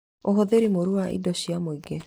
Ũhũthĩri mũru wa indo cia mũingĩ